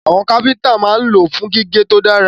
Àwọn kápẹ́ntà máa ń lò wọ́n fún gígé tó dára